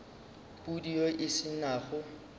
pudi yeo e se nago